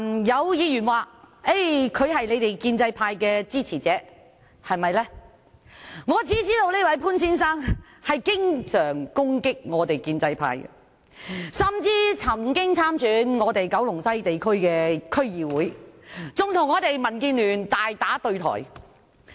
有議員說他是建制派的支持者，但我只知道他經常攻擊建制派，甚至曾在九龍西某地區參加區議會選舉，與民主建港協進聯盟大打對台。